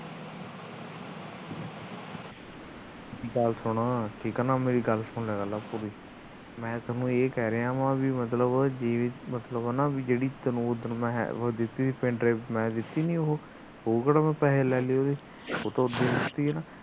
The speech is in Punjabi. ਗੱਲ ਸੁਣ ਠੀਕ ਨਾ ਮੇਰੀ ਪੂਰੀ ਗੱਲ ਸੁਣ ਲਿਆ ਕਰ ਪੂਰੀ ਮੈ ਤੈਨੂੰ ਇਹ ਕਹਿ ਰਿਹਾ ਵਾ ਕਿ GB ਜਿਹੜੀ ਇਕ ਉਹ ਹੈ ਮੈ ਤੈਨੂੰ ਦਿੱਤੀ ਸੀਗੀ pendrive ਮੈ ਦਿੱਤੀ ਨਹੀ ਹੈਗੀ ਉਹ ਕਿਹੜਾ ਪੈਸੇ ਲੈ ਲਏ ਉਹਦੇ